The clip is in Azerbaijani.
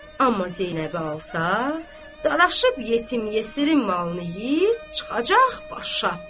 Amma Zeynəbi alsa, dalaşıb yetim yesirin malını yeyib çıxacaq başa.